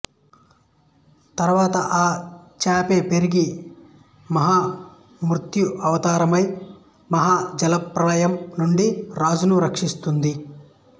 తరువాత ఆ చేపే పెరిగి మహా మత్స్యావతారమై మహా జల ప్రళయం నుండి రాజును రక్షిస్తుంది